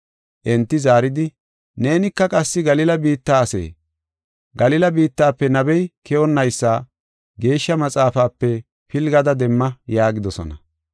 Enti zaaridi, “Neenika qassi Galila biitta asee? Galila biittafe nabey keyonnaysa Geeshsha Maxaafape pilgada demma” yaagidosona.